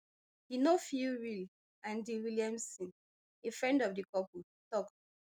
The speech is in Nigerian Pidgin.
e no feel real andy williamson a friend of the couple tok